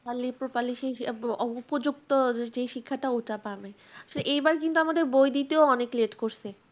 only properly সেই আহ উপযুক্ত যেই শিক্ষাটা ওটা পাবে। তো এইবার কিন্তু আমাদের বই দিতেও অনেক let করছে।